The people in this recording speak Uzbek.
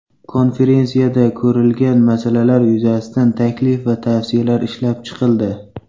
Konferensiyada ko‘rilgan masalalar yuzasidan taklif va tavsiyalar ishlab chiqildi.